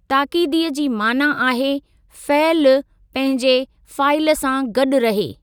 ताकीदीअ जी माना आहे फ़इलु पंहिंजे फ़ाइल सां गॾु रहे।